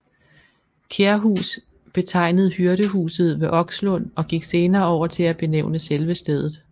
Kærhus betegnede hyrdehuset ved Okslund og gik senere over til at benævne selve stedet